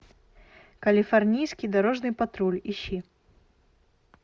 калифорнийский дорожный патруль ищи